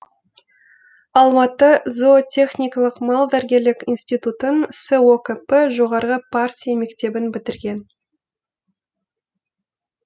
алматы зоотехникалық малдәрігерлік институтын сокп жоғарғы партия мектебін бітірген